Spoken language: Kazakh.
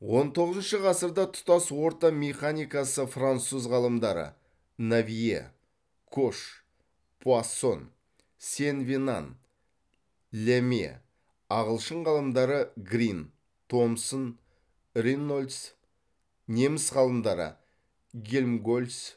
он тоғызыншы ғасырда тұтас орта механикасы француз ғалымдары навье кош пуассон сен венан ляме ағылшын ғалымдары грин томсон рейнольдс неміс ғалымдары гельмгольц